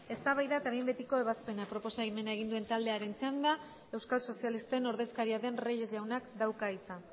eztabaida eta behin betiko ebazpena proposamena egin duen taldearen txanda euskal sozialisten ordezkaria den reyes jaunak dauka hitza